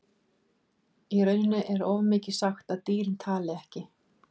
Í rauninni er of mikið sagt að dýrin tali ekki.